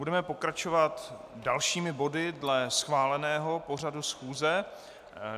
Budeme pokračovat dalšími body dle schváleného pořadu schůze.